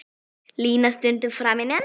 Línu stundum framinn á.